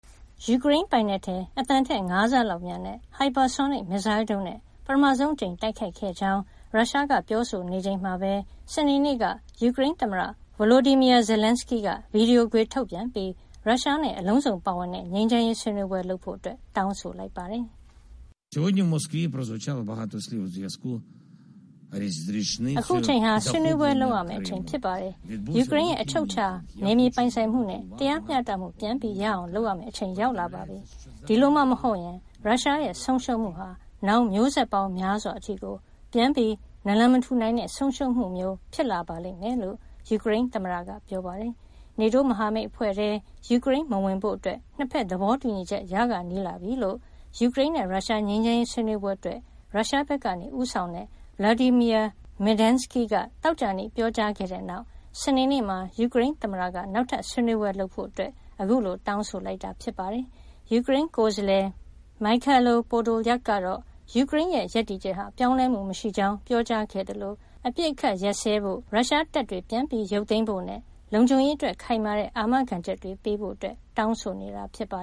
ယူကရိန်းပိုင်နက်ထဲ အသံထက် ၅ ဆလောက်မြန်တဲ့ ဟိုက်ပါဆိုနစ် မစ်ဇိုင်းဒုံးနဲ့ ပထမဆုံးအကြိမ် တိုက်ခိုက်ခဲ့ကြောင်း ရုရှားက ပြောဆိုချိန်မှာပဲ စနေနေ့က ယူကရိန်းသမ္မတ Volodymyr Zelenskiy က ဗီဒီယိုခွေထုတ်ပြန်ပြီး ရုရှားနဲ့ အလုံးစုံပါဝင်တဲ့ ငြိမ်းချမ်းရေး ဆွေးနွေးပွဲလုပ်ဖို့ တောင်းဆိုလိုက်ပါတယ်။ “အခုအချိန်ဟာ ဆွေးနွေးပွဲလုပ်ရမယ့်အချိန် ဖြစ်ပါတယ်။ ယူကရိန်းရဲ့ အချုပ်အခြာ နယ်မြေပိုင်ဆိုင်မှုနဲ့ တရားမျှတမှု ပြန်ရအောင် လုပ်ရမယ့်အချိန် ရောက်လာပါပြီ။ ဒီလိုမှမဟုတ်ရင် ရုရှားရဲ့ ဆုံးရှုံးမှုဟာ နောင်မျိုးဆက်ပေါင်းများစွာ အထိကို ပြန်နာလန်မထူနိုင်တဲ့ ဆုံးရှုံးမှုမျိုး ဖြစ်လာပါလိမ့်မယ်။” လို့ ယူကရိန်းသမ္မတက ပြောပါတယ်။ NATO မဟာမိတ်အဖွဲ့ထဲ ယူကရိန်းမဝင်ဖို့ နှစ်ဖက် သဘောတူညီချက် ရခါနီးလာပြီလို့ ယူကရိန်းနဲ့ ရုရှား ငြိမ်းချမ်းရေး ဆွေးနွေးပွဲအတွက် ရုရှားဘက်က ဦးဆောင်တဲ့ Vladimir Medinsky က သောကြာနေ့မှာ ပြောကြားခဲ့တဲ့နောက် စနေနေ့မှာ ယူကရိန်းသမ္မတက နောက်ထပ်ဆွေးနွေးပွဲလုပ်ဖို့ ခုလို တောင်းဆိုလိုက်တာ ဖြစ်ပါတယ်။ ယူကရိန်းကိုယ်စားလှယ် Mykhailo Podolyak ကတော့ ယူကရိန်းရဲ့ ရပ်တည်ချက်ဟာ ပြောင်းလဲမှုမရှိကြောင်း ပြောကြားခဲ့သလို အပစ်အခတ်ရပ်စဲဖို့၊ ရုရှားတပ်တွေ ပြန်ရုပ်သိမ်းဖို့နဲ့ လုံခြုံရေးအတွက် ခိုင်မာတဲ့ အာမခံချက်တွေ ပေးဖို့ တောင်းဆိုနေတာပါ